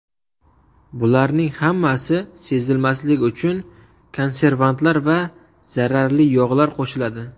Bularning hammasi sezilmasligi uchun konservantlar va zararli yog‘lar qo‘shiladi.